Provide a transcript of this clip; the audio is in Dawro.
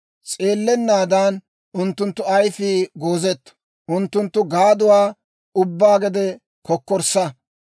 S'eellennaadan unttunttu ayifii goozetto; unttunttu gaaduwaa ubbaa gede kokkorssa.